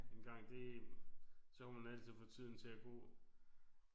Engang det så kunne man altid få tiden til at gå